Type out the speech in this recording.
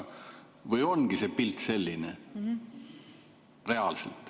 Või ongi see pilt reaalselt selline?